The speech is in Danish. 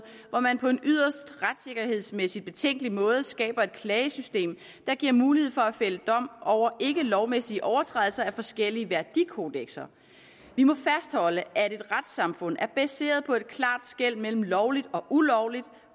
hvor man på en yderst retssikkerhedsmæssigt betænkelig måde skaber et klagesystem der giver mulighed for at fælde dom over ikkelovmæssige overtrædelser af forskellige værdikodekser vi må fastholde at et retssamfund er baseret på et klart skel mellem lovligt og ulovligt